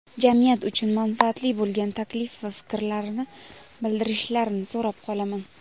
jamiyat uchun manfaatli bo‘lgan taklif va fikrlarini bildirishlarini so‘rab qolaman!.